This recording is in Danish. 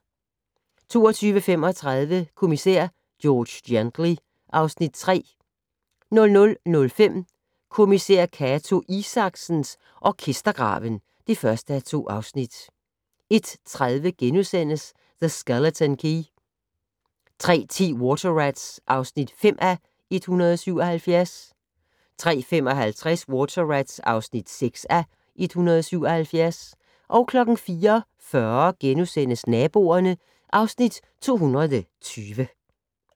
22:35: Kommissær George Gently (Afs. 3) 00:05: Kommissær Cato Isaksen: Orkestergraven (1:2) 01:30: The Skeleton Key * 03:10: Water Rats (5:177) 03:55: Water Rats (6:177) 04:40: Naboerne (Afs. 220)*